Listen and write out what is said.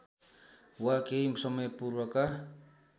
वा केही समयपूर्वका